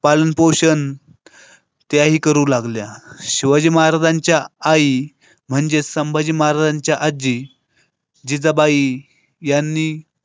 पालनपोषण त्याही करू लागल्या. शिवाजी महाराजांच्या आई म्हणजे संभाजी महाराजांच्या आजी. जिजाबाई यांनी.